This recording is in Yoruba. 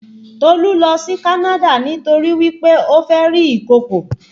Tolu lọ sí Canada nítorí wí pé ó fẹ́ rí ìkokò